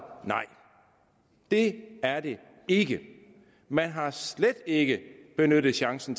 nej det er det ikke man har slet ikke benyttet chancen